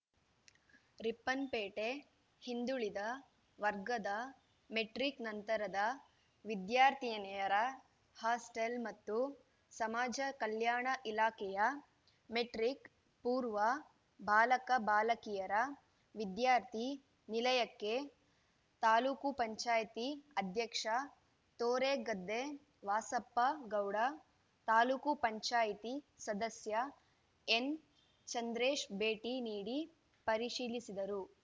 ರಿಪ್ಪನ್‌ಪೇಟೆ ಹಿಂದುಳಿದ ವರ್ಗದ ಮೆಟ್ರಿಕ್‌ ನಂತರದ ವಿದ್ಯಾರ್ಥಿನಿಯರ ಹಾಸ್ಟಲ್‌ ಮತ್ತು ಸಮಾಜ ಕಲ್ಯಾಣ ಇಲಾಖೆಯ ಮೆಟ್ರಿಕ್‌ ಪೂರ್ವ ಬಾಲಕ ಬಾಲಕಿಯರ ವಿದ್ಯಾರ್ಥಿ ನಿಲಯಕ್ಕೆ ತಾಲೂಕ್ ಪಂಚಾಯತಿ ಅಧ್ಯಕ್ಷ ತೋರೆಗದ್ದೆ ವಾಸಪ್ಪ ಗೌಡ ತಾಲೂಕ್ ಪಂಚಾಯತಿ ಸದಸ್ಯ ಎನ್‌ಚಂದ್ರೇಶ್‌ ಭೇಟಿ ನೀಡಿ ಪರಿಶೀಲಿಸಿದರು